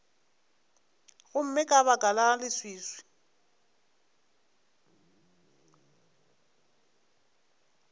gomme ka baka la leswiswi